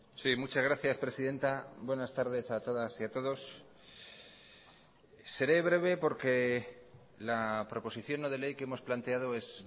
sí muchas gracias presidenta buenas tardes a todas y a todos seré breve porque la proposición no de ley que hemos planteado es